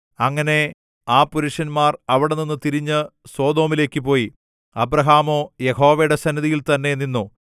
അങ്ങനെ ആ പുരുഷന്മാർ അവിടെനിന്നു തിരിഞ്ഞു സൊദോമിലേക്ക് പോയി അബ്രാഹാമോ യഹോവയുടെ സന്നിധിയിൽ തന്നേ നിന്നു